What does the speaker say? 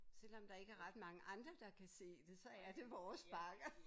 Selvom der ikke er ret mange andre der kan se det så er det vores bakker